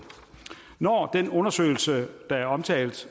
når den undersøgelse der er omtalt